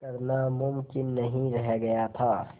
करना मुमकिन नहीं रह गया था